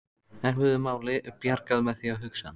Erfiðu máli bjargað með því að hugsa